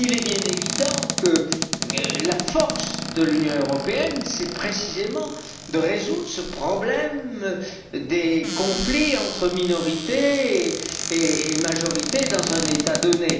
Il est bien évident que la force de l'Union européenne c'est précisément de résoudre ce problème des conflits entre minorités et majorités dans un État donné.